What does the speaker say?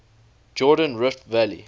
jordan rift valley